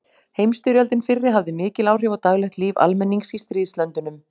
Heimsstyrjöldin fyrri hafði mikil áhrif á daglegt líf almennings í stríðslöndunum.